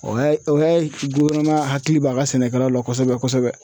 O y'a o ye du kɔnɔna hakili bɛ a ka sɛnɛkɛlaw la kosɛbɛ kosɛbɛ.